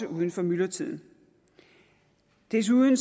uden for myldretiden desuden